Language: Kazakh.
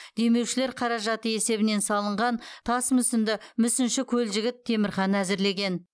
демеушілер қаражаты есебінен салынған тас мүсінді мүсінші көлжігіт темірхан әзірлеген